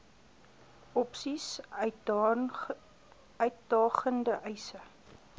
opsies uitdagende eise